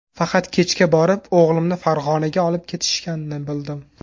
Faqat kechga borib o‘g‘limni Farg‘onaga olib ketishganini bildim.